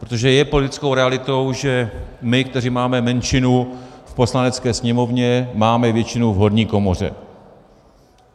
Protože je politickou realitou, že my, kteří máme menšinu v Poslanecké sněmovně, máme většinu v horní komoře.